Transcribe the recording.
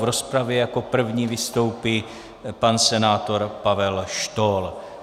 V rozpravě jako první vystoupí pan senátor Pavel Štohl.